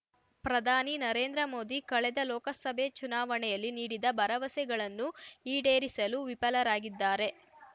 ಪ್ರಧಾನಿ ನರೇಂದ್ರ ಮೋದಿ ಕಳೆದ ಲೋಕಸಭೆ ಚುನಾವಣೆಯಲ್ಲಿ ನೀಡಿದ ಭರವಸೆಗಳನ್ನು ಈಡೇರಿಸಲು ವಿಫಲರಾಗಿದ್ದಾರೆ